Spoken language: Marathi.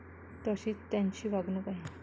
तशीच त्यांची वागणूक आहे.